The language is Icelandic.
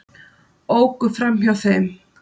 Óku fram hjá þeim